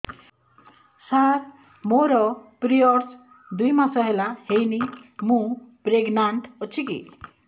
ସାର ମୋର ପିରୀଅଡ଼ସ ଦୁଇ ମାସ ହେଲା ହେଇନି ମୁ ପ୍ରେଗନାଂଟ ଅଛି କି